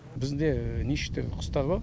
бізде неше түрлі құстар бар